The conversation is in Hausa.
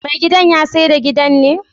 me gidan yasaida gidan ne?